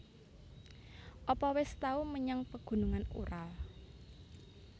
Apa wis tau menyang Pegunungan Ural